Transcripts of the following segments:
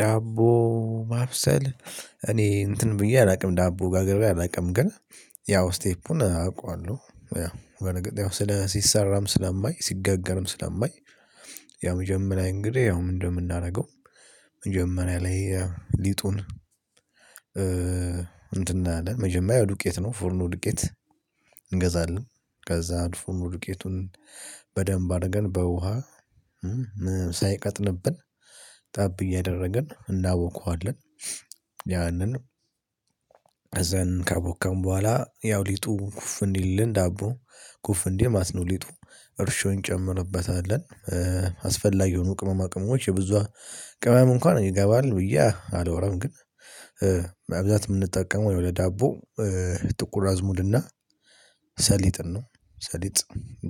ዳቦ ማብሰል እኔ እንትን ብዬ አላውቅም ዳቦ ጋግሬ አላውቅም ግን ያው ስቴፑን አውቃለሁ ያው በነገር ያው ስለ ሲሰራም ስለማይ ሲጋገርም ስለማይ ያው መጀመሪያ እንግዲህ ያው እንደምናደርገው መጀመሪያ ላይ ሊጡን እንትን አለ መጀመሪያ ዱቄት ነው ፎርኑ ዱቄት እንገዛለን። ከዛ ፎርኑ ዱቄቱን በደንብ አርገን በውሃ ሳይቀጥንብን ጠብ እያደረግን እናቦክዋለን ያንንም አዛን ካቦካን ቦኋላ ያው ሊጡ ኩፍ አንዲልልን ዳቦ ኩፍ አንዲል ማለት ነው ሊጡ እርሾ እንጨምርበታለን። አስፈላጊ የሆኑ ቅመማ ቅመሞች የብዙ ቅመም እንኳን ይገባል ብዬ አላወራም ግን መብዛት በብዛት ምንጠቀመው ወይ ወደ ዳቦ ጥቁር አዝሙድና ሰሊጥን ነው ሰሊጥ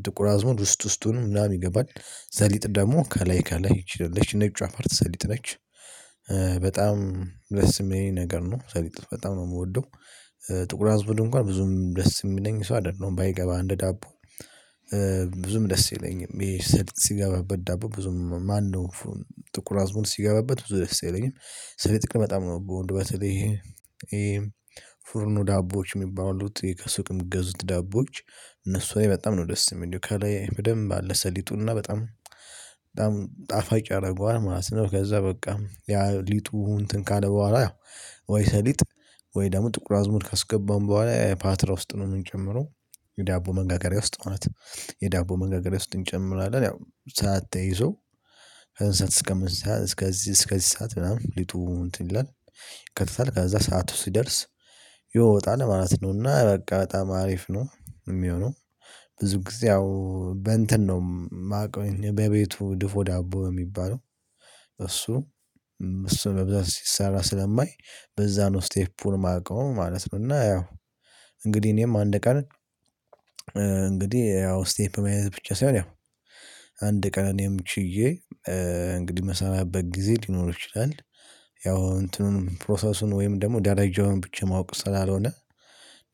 ጥቁር አዝሙድ ውስጥ ውስጡን ምናምን ይገባል ሰሊጥ ደግሞ ከላይ ከላይ ነጯ ፓርት ሰሊጥ ነች። በጣም ደስ የሚለኝ ነገር ነው ሰሊጥ በጣም ነው የምወደው። ጥቁር አዝሙድ እንኳን ብዙም ደስ የሚለኝ ሰው አይደለም። ባይገባ እንደ ዳቦ ብዙም ደስ ይለኛል ሲገባበት ዳቦ ብዙም ማነው ጥቁር አዝሙድ ሲገባበት ብዙ ደስ አይለኝም ሰሊጥ በጣም ነው ምወደው በተለይ ፍርኑ ዳቦዎች የሚባሉት ከሱቅም ሚገዙት ዳቦዎች እነሱ ላይ በጣም ነው ደስ የሚሐኝ እንደው ከላይ በደንብ አለ ሰሊጡን እና በጣም በጣም ጣፋጭ ያረገዋል ማለት ነው። ከዛ በቃ ያ ሊጡ እንትን ካለ ቦኋላ ወይ ሰሊጥ ወይ ደግሞ ጥቁር አዝሙድ ካስገባን ቦኋላ ፓትራ ውስጥ ነው የምንጨምረው። የዳቦ መጋገሪያ ውስጥ ማለት ነው። የዳቦ መጋገሪያ ውስጥ እንጨምራለን ያው ሰዓት ተይዞ ከእዚ እስከ እንስሳት እስከዚህ እስከዚህ ሰዓት ምናምን ሊጡ እንትን ይላል ይከታታል ከዛ ሰዓቱ ሲደርስ ይወጣል ማለት ነው። እና በቃ በጣም አሪፍ ነው የሚሆነው ብዙ ጊዜ ያው በእንትን ነው የማውቀው በቤቱ ድፎ ዳቦ የሚባለው በእሱ እሱ በብዛት ሲሰራ ስለማይ በዛ ነው ስቴፑን የማውቀው ማለት ነው እና ያው እንግዲህ እኔም አንድ ቀን እንግዲህ ያው ስቴፕ መያዝ ብቻ ሳይሆን ያው አንድ ቀን እኔም ችዬ እንግዲህ ምሰራበት ጊዜ ሊኖር ይችላል። ያው እንትኑን ፕሮሰሱን ወይም ደግሞ ደረጃውን ብቻ ማወቅ ስላልሆነ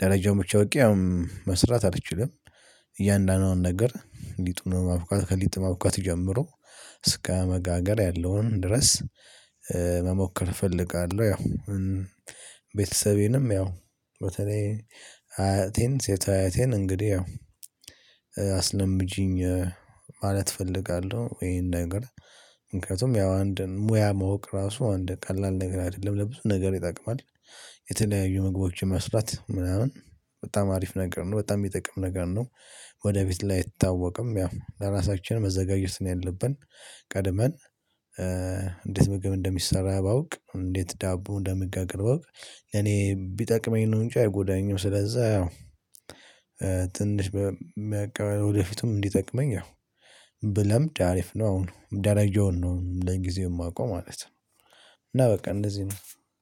ደረጃውን ብቻ አዉቄ አሁን መስራት አልችልም። እያንዳንዱን ነገር ሊጡን ማቡካት ከሊጡ ማቡካት ጀምሮ እስከ መጋገር ያለውን ድረስ መሞከር እፈልጋለው ያው ቤተሰቤንም ያው በተለይ አያቴን ሴት አያቴን እንግዲህ አስለምጂኝ ማለት እፈልጋለው ይሄን ነገር። ምክንያቱም ያው አንድ ሙያ መውቅ ራሱ አንድ ቀላል ነገር አይደለም ለብዙ ነገር ይጠቅማል። የተለያዩ ምግቦች መስራት ምናምን በጣም አሪፍ ነገር ነው በጣም የሚጠቅም ነገር ነው። ወደ ቤት ላይ አይታወቅም ያው ለራሳችን መዘጋጀት ነው ያለብን። ቀድመን እንዴት ምግብ እንደሚሰራ ባውቅ እንዴት ዳቦ እንደምጋገር ባውቅ እኔ ቢጠቅመኝ ነው እንጂ አይጎዳኝም ለዛ ትንሽ ወደፊቱም እንዲጠቅመኝ ያው ብለምድ አሪፍ ነው አሁን ጀረጃዉን ነው ለጊዜው የማውቀው ማለት ነው እና በቃ እንደዚህ ነው።